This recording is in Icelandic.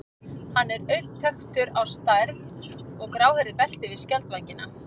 Hann er auðþekktur á stærð og gráhærðu belti yfir skjaldvængina.